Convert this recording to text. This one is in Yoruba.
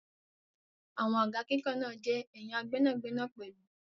Àwọn àga kíkàn náà jẹ́ ẹ̀ya gbẹ́nàgbẹnà pẹ̀lú.